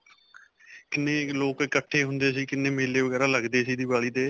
ਕਿੰਨੇ ਲੋਕ ਇਕੱਠੇ ਹੁੰਦੇ ਸੀ, ਕਿੰਨੇ ਮੇਲੇ ਵਗੈਰਾ ਲਗਦੇ ਸੀ ਦੀਵਾਲੀ 'ਤੇ.